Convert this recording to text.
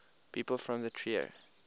people from trier